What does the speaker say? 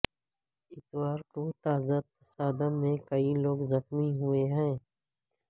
اتوار کو تازہ تصادم میں کئی لوگ زخمی ہوئے ہیں